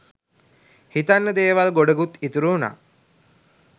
හිතන්න දේවල් ගොඩකුත් ඉතුරු වුනා